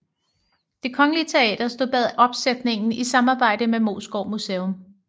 Det Kongelige Teater stod bag opsætningen i samarbejde med Moesgaard Museum